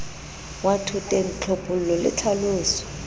wa thoteng tlhophollo le tlhaloso